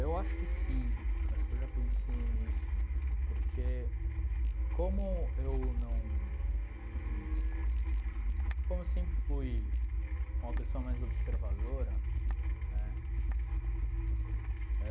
Eu acho que sim, acho que eu já pensei nisso, porque como eu não como eu sempre fui uma pessoa mais observadora né,